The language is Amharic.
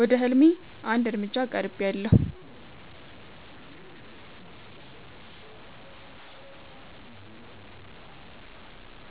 ወደ ህልሜ አንድ እርምጃ ቀርቤያለሁ።